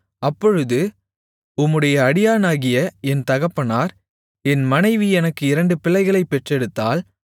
அப்பொழுது உம்முடைய அடியானாகிய என் தகப்பனார் என் மனைவி எனக்கு இரண்டு பிள்ளைகளைப் பெற்றெடுத்தாள்